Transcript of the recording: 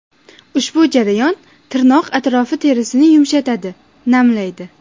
Ushbu jarayon tirnoq atrofi terisini yumshatadi, namlaydi.